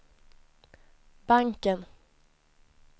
banken